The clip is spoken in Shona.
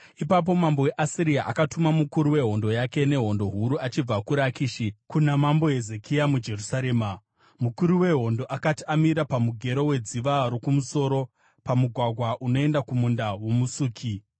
Ipapo mambo weAsiria akatuma mukuru wehondo yake nehondo huru achibva kuRakishi kuna Mambo Hezekia muJerusarema. Mukuru wehondo akati amira pamugero weDziva roKumusoro, pamugwagwa unoenda kuMunda woMusuki,